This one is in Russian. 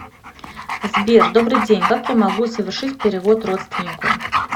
сбер добрый день как я могу совершить перевод родственнику